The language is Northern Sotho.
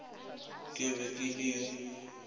ke be ke le yo